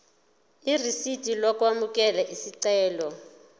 irisidi lokwamukela isicelo